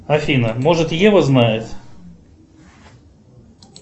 афина может ева знает